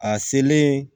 A selen